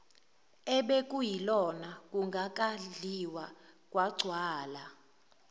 obekuyilokhu kungakadliwa kwagcwala